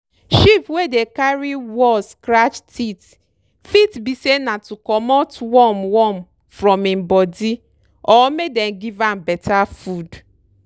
sheep wey dey carry wall scratch teeth fit be say na to comot worm worm from im body or make dem give am beta food.